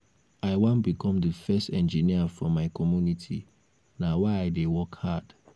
i wan become the first engineer for my community na why i dey work hard.